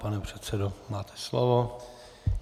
Pane předsedo, máte slovo.